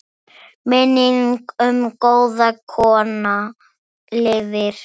Minning um góða kona lifir.